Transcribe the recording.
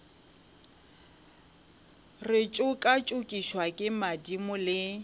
re tšokatšokišwa ke madimo le